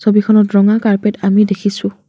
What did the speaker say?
ছবিখনত ৰঙা কাৰ্পেট আমি দেখিছোঁ।